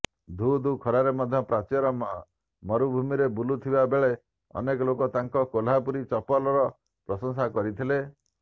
ଧୁ ଧୁ ଖରାରେ ମଧ୍ୟ ପ୍ରାଚ୍ୟର ମରୁଭୂମିରେ ବୁଲୁଥିବା ବେଳେ ଅନେକ ଲୋକ ତାଙ୍କ କୋହ୍ଲାପୁରୀ ଚପଲର ପ୍ରଶଂସା କରିଥିଲେ